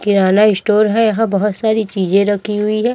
किराना store है यहां बहोत सारी चीजें रखी हुई है।